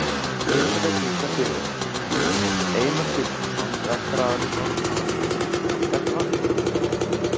Elísabet Inga Sigurðardóttir: Einar Sigfússon, rekstraraðili Norðurár, hvernig var þetta í morgun?